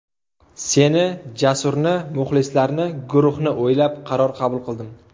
Seni, Jasurni, muxlislarni, guruhni o‘ylab qaror qabul qildim.